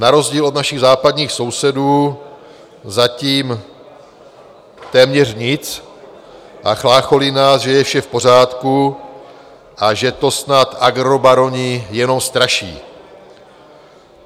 Na rozdíl od našich západních sousedů zatím téměř nic a chlácholí nás, že je vše v pořádku a že to snad agrobaroni jenom straší.